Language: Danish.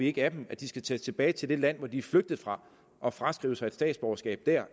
ikke af dem at de skal tage tilbage til det land de er flygtet fra og fraskrive sig et statsborgerskab dér